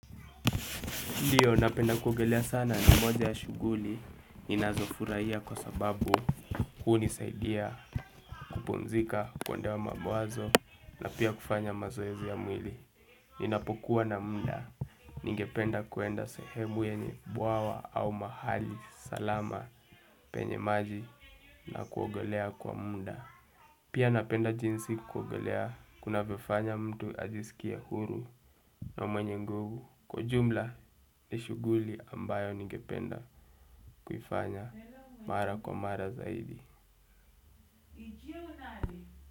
Ndiyo napenda kuogelea sana na moja ya shughuli inazofuraiya kwa sababu huni saidia kupumzika kuandaa mawazo na pia kufanya mazoezi ya mwili. Ninapokuwa na mda ningependa kwenda sehemu yenye bwawa au mahali salama penye maji na kuogelea kwa mnda. Pia napenda jinsi kuogelea kuna vyofanya mtu ajisikie huru na mwenye nguvu kwa ujumla ni shuguli ambayo ningependa kuifanya mara kwa mara zaidi.